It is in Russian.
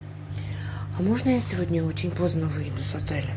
а можно я сегодня очень поздно выйду с отеля